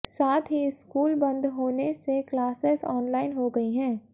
साथ ही स्कूल बंद होने से क्लोसेस ऑनलाइन हो गई हैं